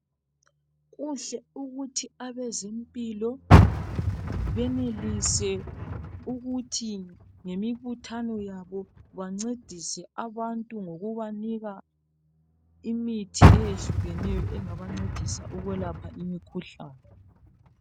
Kuhle ukuthi abezempilo benelise ukuthi ngemibuthano yabo bancedise abantu ngokubanika imithi eyehlukeneyo engabancedisa ukwelapha imikhuhlane.